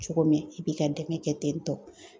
Cogo min, i b'i ka dɛmɛ kɛ ten tɔ.